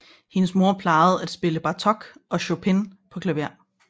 Hendes mor plejede at spille Bartók og Chopin på klaver